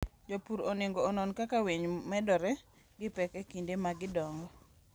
Jopur onego onon kaka winy medore gi pek e kinde ma gidongo.